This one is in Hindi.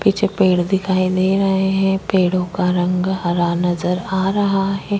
पीछे पेड़ दिखाई दे रहे हैं पेड़ों का रंग हरा नज़र आ रहा है।